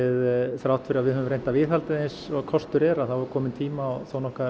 þrátt fyrir að við höfum reynt að viðhalda því eins og kostur er er kominn tími á